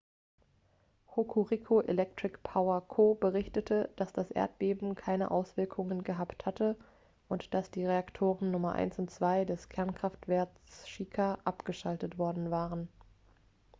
hokuriku electric power co. berichtete dass das erdbeben keine auswirkungen gehabt hatte und dass die reaktoren nummer 1 und 2 des kernkraftwerks shika abgeschaltet worden waren